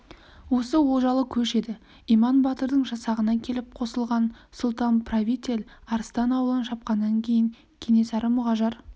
осы олжалы көш еді иман батырдың жасағына келіп қосылған сұлтан-правитель арыстан аулын шапқаннан кейін кенесары мұғажар